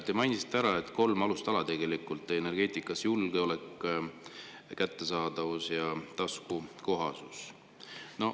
Te mainisite ära kolm alustala energeetikas: julgeolek, kättesaadavus ja taskukohasus.